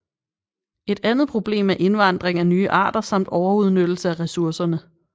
Et andet problem er indvandring af nye arter samt overudnyttelse af ressourcerne